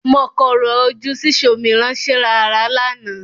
Mọ korò ojú sí ṣòmìrán-ṣerààrá lánàá.